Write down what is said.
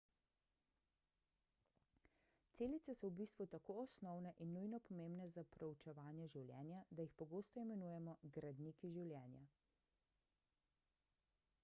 celice so v bistvu tako osnovne in nujno pomembne za proučevanje življenja da jih pogosto imenujemo gradniki življenja